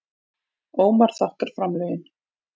Ómar þakkar framlögin